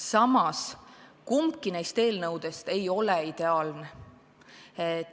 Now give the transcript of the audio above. Samas, kumbki neist eelnõudest ei ole ideaalne.